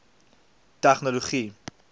tegnologie